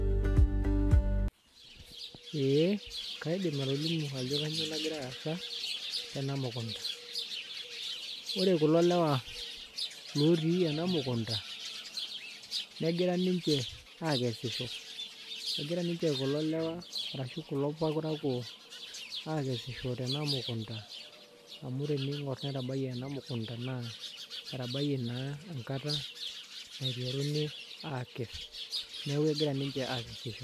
Ee kaidim atolimu ajo kainyioo nagira aasa tena mukunda, ore kulo lewa ootii ena mukunda negira ninche aakesisho egira ninche kulo lewa arashu kulo parakuo aakesisho tena mukunda amu teniing'orr netabayie ena mukunda naa etabayie naa enkata naiteruni aakes neeku egira ninche aakesisho.